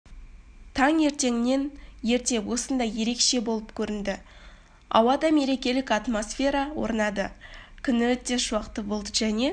таңертеңнен ерте сондай ерекше болып көрінді ауада мерекелік атмосфера орнады күн өте шуақты болды және